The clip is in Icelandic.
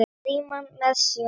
Frímann með sér.